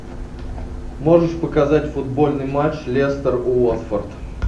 можешь показать футбольный матч лестер уотфорд